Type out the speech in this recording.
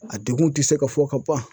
A dekun te se ka fɔ ka ban.